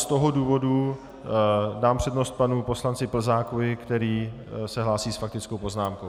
Z toho důvodu dám přednost panu poslanci Plzákovi, který se hlásí s faktickou poznámkou.